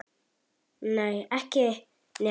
Nei, ekki nema að hluta.